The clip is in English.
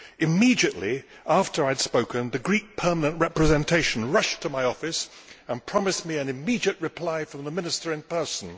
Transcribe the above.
Immediately after I had spoken, the Greek Permanent Representation rushed to my office and promised me an immediate reply from the Minister in person.